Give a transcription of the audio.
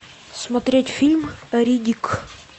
смотреть фильм риддик